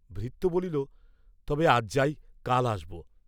ভৃত্য বলিল, তবে আজ যাই, কাল আসব।